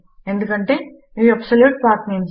ఎందుకంటే ఇవి అబ్సల్యూట్ పత్నమేస్